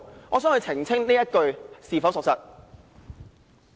"我想他澄清這句說話是否屬實。